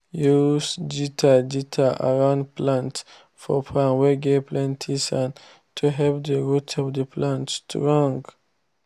use gutter gutter around plants for farm whey get plenty sand to help the root of the plants strong.